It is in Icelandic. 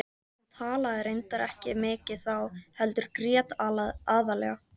Hún talaði reyndar ekki mikið þá heldur grét aðallega.